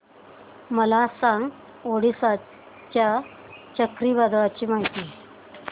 मला सांगा ओडिशा च्या चक्रीवादळाची माहिती